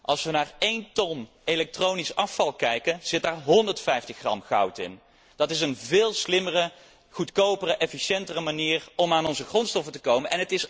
Als we naar één ton elektronisch afval kijken, zit daar 150 gram goud in. Dat is een veel slimmere, goedkopere, efficiëntere manier om aan onze grondstoffen te komen.